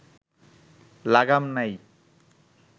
লাগাম নাই